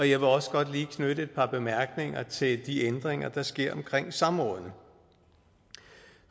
jeg vil også godt lige knytte et par bemærkninger til de ændringer der sker omkring samrådene